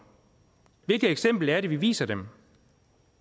hvilket eksempel er det vi viser dem